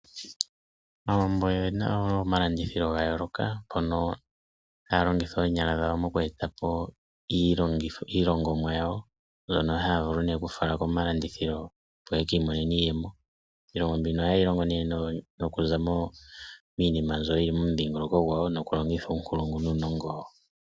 Aawambo oyena omalandithilo ga yoolok, mpono haya longitha oonyala dhawo moku etapo iilongomwa yawo mbyono haya vulu okufala komalandithilo opo yeki imonenemo iiyemo. Iihongomwa mbika oha yeyi longo nee nokuza miinima mbyono yili momudhingoloko gwawo noku longitha uunkulungu nuunongo wawo